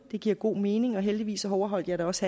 det giver god mening og heldigvis overholdt jeg da også